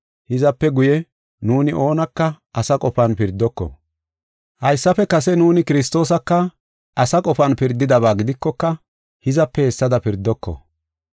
Hizape guye, nuuni oonaka asa qofan pirdoko. Haysafe kase nuuni Kiristoosaka asa qofan be7idaba gidikoka, hizape hessada be7oko.